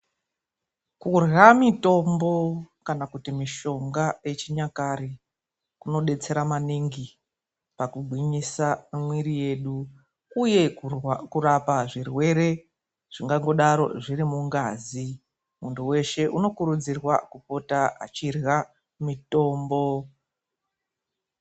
Kurya mitombo kana kuti mishonga yechinyakare kunodetsera maningi pakugwinyisa mwiri yedu, uye kurapa zvirwere zvingangodaro zvirimungazi. Muntu weshe unokurudzirwa kupota achirya mitombo.